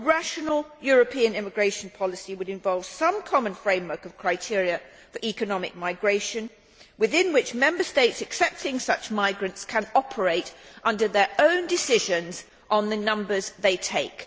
A rational European immigration policy would involve some common framework of criteria for economic migration within which Member States accepting such migrants can operate under their own decisions on the numbers they take.